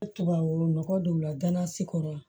Tubabu nɔgɔ don la ganzi kɔrɔ